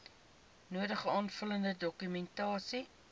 nodige aanvullende dokumentasie